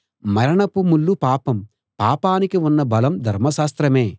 మరణపు ముల్లు పాపం పాపానికి ఉన్న బలం ధర్మశాస్త్రమే